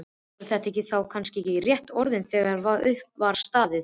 Voru þetta þá kannski réttu orðin þegar upp var staðið?